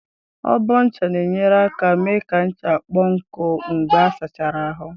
Ọbọ ncha na-enyere aka mee ka ncha kpọọ nkụ mgbe a sachara ahụ.